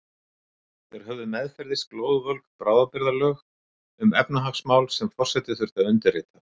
Þeir höfðu meðferðis glóðvolg bráðabirgðalög um efnahagsmál sem forseti þurfti að undirrita.